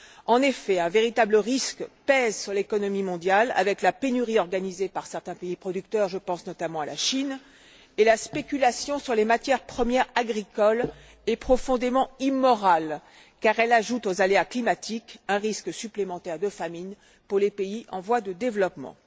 En effet, un véritable risque pèse sur l'économie mondiale avec la pénurie organisée par certains pays producteurs je pense notamment à la Chine et la spéculation sur les matières premières agricoles est profondément immorale car elle ajoute aux aléas climatiques un risque supplémentaire de famine pour les pays en voie de développement.